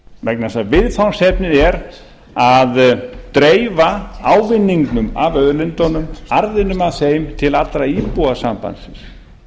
vegna þess að viðfangsefnið er að dreifa ávinning af auðlindunum arðinum af þeim til allra íbúa sambandsins